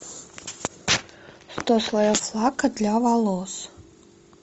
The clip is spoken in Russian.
сто слоев лака для волос